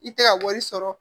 I tɛ ka wari sɔrɔ